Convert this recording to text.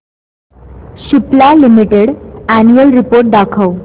Cipla limited annual report दाखव